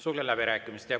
Sulgen läbirääkimised.